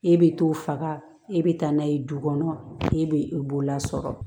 E bɛ t'o faga e be taa n'a ye du kɔnɔ e be bolola sɔrɔ